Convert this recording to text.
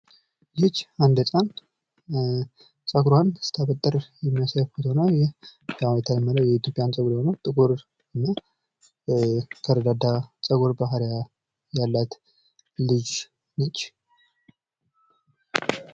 ይች አንድ ህጻን ጸጉሯን ስታበጥር የሚያሳይ ምስል ነው። ይህ ያው እንደተለመደው የኢትዮጵያውያን ጸጉር ነው። ጥቁር እና የተረጋጋ ጸጉር ባህሪ ያላት ልጅ ነች።